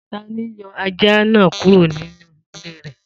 Ta ni yọ ajá náà kúrò nínú ilé rẹ̀?